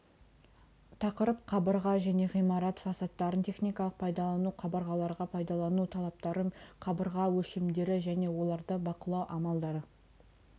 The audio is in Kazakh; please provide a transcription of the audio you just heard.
тақырып қабырға және ғимарат фасадтарын техникалық пайдалану қабырғаларға пайдалану талаптары қабырға өлшемдері және оларды бақылау амалдары